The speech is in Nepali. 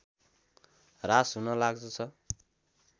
ह्रास हुन लाग्दछ